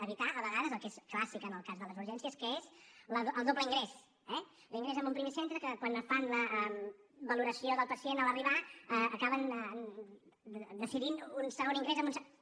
evitar a vegades el que és clàssic en el cas de les urgències que és el doble ingrés eh l’ingrés en un primer centre que quan fan la valoració del pacient en arribar acaben decidint un segon ingrés en un centre